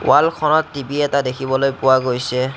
ৱালখনত টি_ভি এটা দেখিবলৈ পোৱা গৈছে।